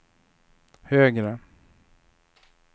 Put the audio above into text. högre